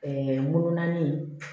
wolo naani